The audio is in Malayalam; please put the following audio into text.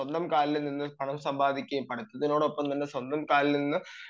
സ്വന്തം കാലിൽ നിന്ന് പണം സമ്പാദിക്കുകയും പഠിത്തത്തോടൊപ്പം തന്നെ സ്വന്തം കാലിൽ നിന്ന്